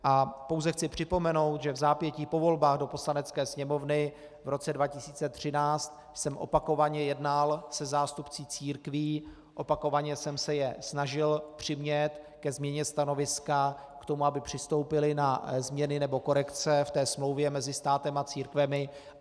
A pouze chci připomenout, že vzápětí po volbách do Poslanecké sněmovny v roce 2013 jsem opakovaně jednal se zástupci církví, opakovaně jsem se je snažil přimět ke změně stanoviska, k tomu, aby přistoupili na změny nebo korekce v té smlouvě mezi státem a církvemi.